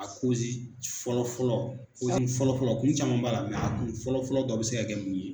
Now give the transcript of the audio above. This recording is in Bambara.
A kozi fɔlɔfɔlɔ kozi fɔlɔfɔlɔ kun caman b'a la a kun fɔlɔfɔlɔ dɔ bɛ se ka kɛ mun ye?